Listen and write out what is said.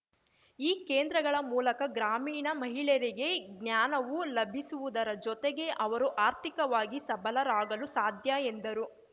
ಈ ಕೇಂದ್ರಗಳ ಮೂಲಕ ಗ್ರಾಮೀಣ ಮಹಿಳೆಯರಿಗೆ ಜ್ಞಾನವು ಲಭಿಸುವುದರ ಜೊತೆಗೆ ಅವರು ಆರ್ಥಿಕವಾಗಿ ಸಬಲರಾಗಲು ಸಾಧ್ಯ ಎಂದರು